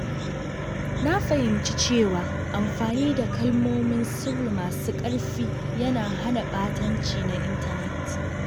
Na fahimci cewa amfani da kalmomin sirri masu ƙarfi yana hana ɓatanci na intanet.